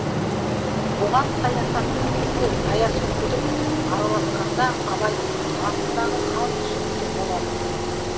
бұған саясаттың ісі саяси күдік араласқанда абайдың басындағы хал түсінікті болады